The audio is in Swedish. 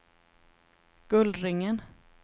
Gullringen